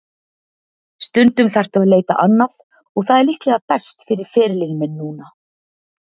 Stundum þarftu að leita annað og það er líklega best fyrir ferilinn minn núna.